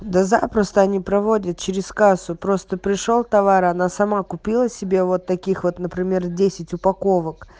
да запросто они проводят через кассу просто пришёл товар она сама купила себе вот таких вот например десять упаковок